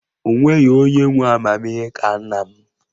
O nweghị onye nwe amamihe ka nna m